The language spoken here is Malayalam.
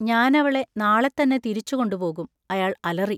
ഞാനവളെ നാളെത്തന്നെ തിരിച്ചുകൊണ്ടുപോകും, അയാൾ അലറി.